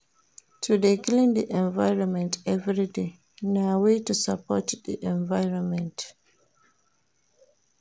To de clean di environment everyday na way to support di environment